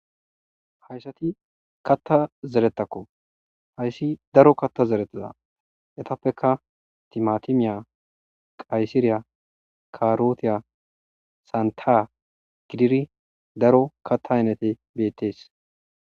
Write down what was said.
hayssati katta zeretakko hayssi daro katta zerettada etappeka timatimiya qayssiriya karotiya santa gidiri daro katta hainete bettees